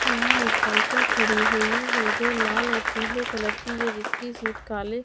यहाँं एक साइकिल खड़ी हुई है जो लाल और पीले कलर की है जिसकी सीट काले--